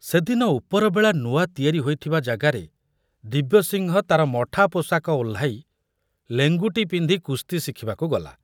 ସେଦିନ ଉପରବେଳା ନୂଆ ତିଆରି ହୋଇଥିବା ଜାଗାରେ ଦିବ୍ୟସିଂହ ତାର ମଠା ପୋଷାକ ଓହ୍ଲାଇ ଲେଙ୍ଗୁଟି ପିନ୍ଧି କୁସ୍ତି ଶିଖିବାକୁ ଗଲା।